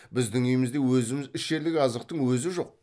біздің үйімізде өзіміз ішерлік азықтың өзі жоқ